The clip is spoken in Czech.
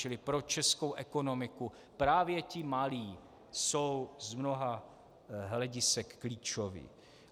Čili pro českou ekonomiku právě ti malí jsou z mnoha hledisek klíčoví.